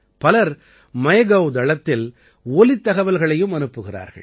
பலர் மைகவ் தளத்தில் ஒலித் தகவல்களையும் அனுப்புகிறார்கள்